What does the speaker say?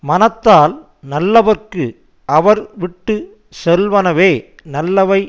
மனத்தால் நல்லவர்க்கு அவர் விட்டு செல்வனவே நல்லவை